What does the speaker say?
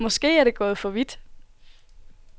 Måske er det gået for vidt.